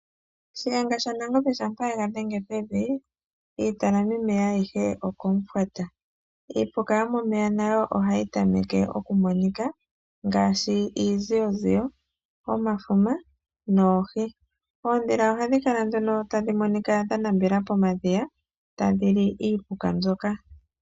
Shiyenga shaNangombe shampa yega dhenge pevi iitalami meya ayihe okomufwata. Iipuka yomomeya nayo ohayi tameke okumonika ngaashi iiziyoziyo, omafuma noohi. Oondhila ohadhi kala tadhi monika dha nambela pomadhiya tadhi li iipuka mbyoka.